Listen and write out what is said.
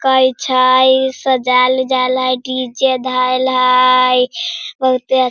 काय छिया सजायल-उज्याल हई डीजे धएल हई बहुते आ --